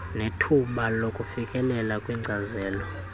nethuba lokufikelela kwinkcazelo